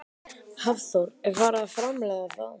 Hafþór: Er farið að framleiða þá?